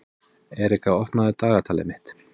Erika, opnaðu dagatalið mitt.